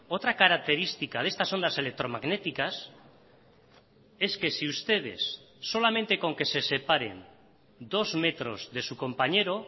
otra característica de estas ondas electromagnéticas es que si ustedes solamente con que se separen dos metros de su compañero